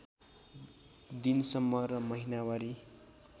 दिनसम्म र महिनावारी